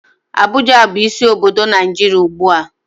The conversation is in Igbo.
Abuja bu isi obodo Naijiria ugbua.